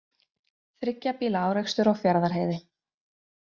Þriggja bíla árekstur á Fjarðarheiði